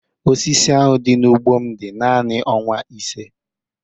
Osisi ahụ dị n'ugbo m dị naanị ọnwa ise.